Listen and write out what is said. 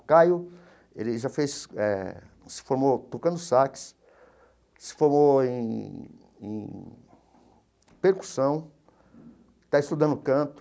O Caio ele já fez eh se formou tocando sax, se formou em em percussão, está estudando canto.